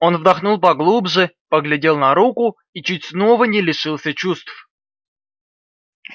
он вдохнул поглубже поглядел на руку и чуть снова не лишился чувств